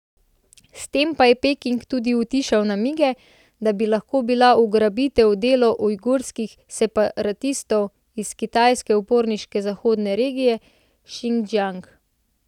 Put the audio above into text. S tem je Peking tudi utišal namige, da bi lahko bila ugrabitev delo ujgurskih separatistov iz kitajske uporniške zahodne regije Šindžjang.